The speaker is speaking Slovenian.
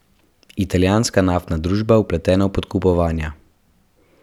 Italijanska naftna družba vpletena v podkupovanja.